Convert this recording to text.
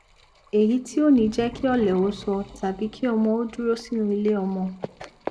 èyí tí ò ní jẹ kí ọlẹ ó sọ tàbí kí ọmọ ó dúró sínú iléọmọ